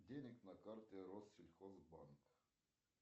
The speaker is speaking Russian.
денег на карте россельхозбанк